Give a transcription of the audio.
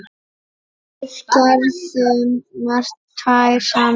Við gerðum margt tvær saman.